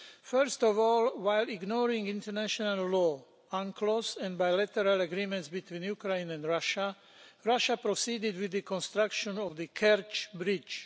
First of all, while ignoring international law on close and bilateral agreements between Ukraine and Russia, Russia proceeded with the construction of the Kerch Bridge.